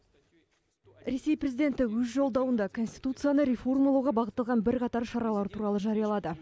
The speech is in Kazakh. ресей президенті өз жолдауында конституцияны реформалауға бағытталған бірқатар шаралар туралы жариялады